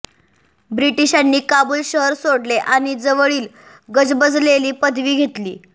ब्रिटिशांनी काबुल शहर सोडले आणि जवळील गजबजलेली पदवी घेतली